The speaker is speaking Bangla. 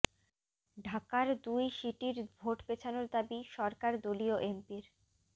ঢাকার দুই সিটির ভোট পেছানোর দাবি সরকার দলীয় এমপির